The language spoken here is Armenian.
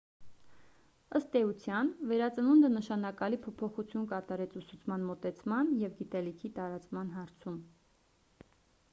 ըստ էության վերածնունդը նշանակալի փոփոխություն կատարեց ուսուցման մոտեցման և գիտելիքի տարածման հարցում